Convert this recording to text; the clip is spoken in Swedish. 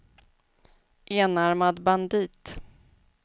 enarmad bandit